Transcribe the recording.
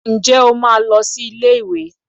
Ǹjẹ́ o máa lọ sí ilé ìwé?